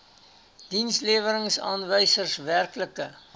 dienslewerings aanwysers werklike